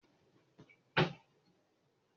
Kí ló ṣe ẹ́ lójú?